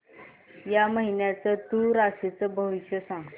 या महिन्याचं तूळ राशीचं भविष्य सांग